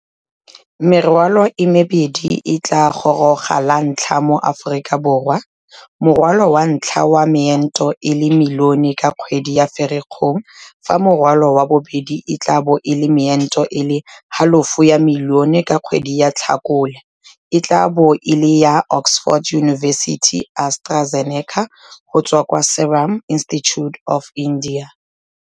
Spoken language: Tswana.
Merwalo e mebedi e e tla gorogang lantlha mo Aforika Borwa morwalo wa ntlha wa meento e le milione ka kgwedi ya Ferikgong fa morwalo wa bobedi e tla bo e le meento e le halofo ya milione ka kgwedi ya Tlhakole e tla bo e le ya Oxford University-AstraZeneca go tswa kwa Serum Institute of India.